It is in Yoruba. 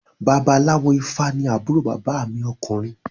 Babaláwo ifá ní àbúrò bàbá mi ọkùnrin